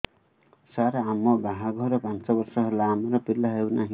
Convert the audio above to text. ସାର ଆମ ବାହା ଘର ପାଞ୍ଚ ବର୍ଷ ହେଲା ଆମର ପିଲା ହେଉନାହିଁ